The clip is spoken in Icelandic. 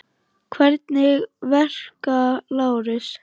Hvernig verka, Lárus?